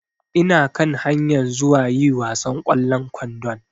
Ina kan hayan zuwa yi wasan kwallon ƙwandon